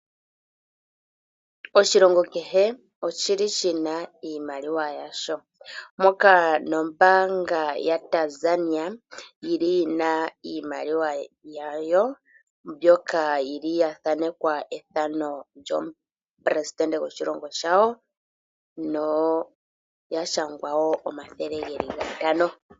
Oshilongo kehe oshi li shi na iimaliwa yasho. Moka nombaanga yaTanzia yi li yi na iimaliwa yawo, yi li ya thanekwa ethano lyomupresidente gwawo